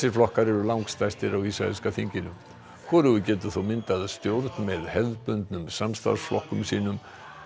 flokkar eru langstærstir á ísraelska þinginu hvorugur getur þó myndað stjórn með hefðbundum samstarfsflokkum sínum